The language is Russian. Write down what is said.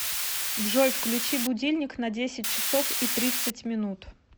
джой включи будильник на десять часов и тридцать минут